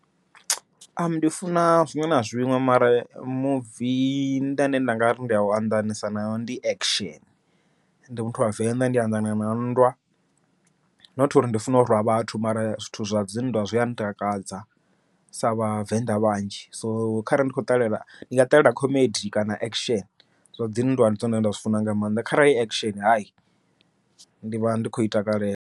Ndi funa zwiṅwe na zwiṅwe mara muvi ndane nda ngari ndi anḓanesa nawo ndi action, ndi muthu wa venḓa ndi anḓana na nndwa, not uri ndi funa urwa vhathu mara zwithu zwa dzi nndwa zwia ntakadza sa vhavenḓa vhanzhi. So kharali ndi khou ṱalela ndi nga ṱalela comedy kana action, zwa dzi nndwa ndi dzone zwine nda zwi funa nga maanḓa kharali hu action hayi ndi vha ndi khou i takalela.